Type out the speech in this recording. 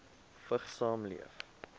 vigs saamleef